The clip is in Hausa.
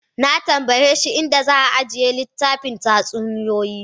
Na tambaye shi, in da ya ajiye littafin tatsuniyoyi?